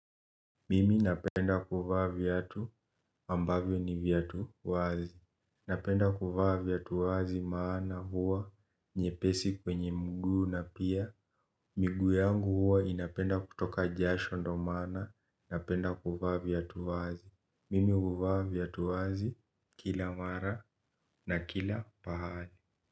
Mimi napenda kuvaa viatu ambavyo ni viatu wazi. Napenda kuvaa viatu wazi maana huwa nyepesi kwenye mguu na pia miguu yangu huwa inapenda kutoka jasho ndo maana napenda kuvaa viatu wazi mimi huvaa viatu wazi kila mara na kila pahali.